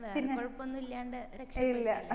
വേറെ കൊഴപ്പോന്നല്ലാണ്ട് രക്ഷ